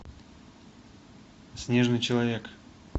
снежный человек